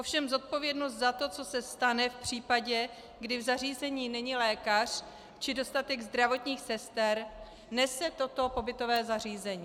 Ovšem zodpovědnost za to, co se stane v případě, když v zařízení není lékař či dostatek zdravotních sester, nese toto pobytové zařízení.